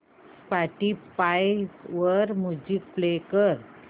Spotify वर music play कर